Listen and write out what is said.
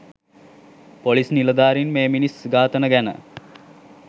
police නිලධාරින් මේ මිනිස් ඝාතන ගැන